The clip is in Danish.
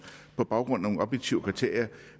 på baggrund af nogle objektive kriterier